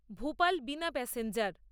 ভূপাল বিনা প্যাসেঞ্জার